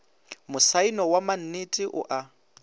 mosaeno wa mannete o a